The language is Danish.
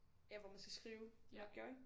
Ja hvor man skal skrive en opgave ik